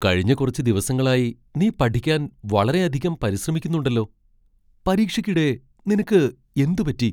കഴിഞ്ഞ കുറച്ച് ദിവസങ്ങളായി നീ പഠിക്കാൻ വളരെയധികം പരിശ്രമിക്കുന്നുണ്ടല്ലോ . പരീക്ഷയ്ക്കിടെ നിനക്ക് എന്ത് പറ്റി ?